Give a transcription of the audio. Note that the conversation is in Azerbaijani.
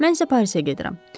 Mən isə Parisə gedirəm.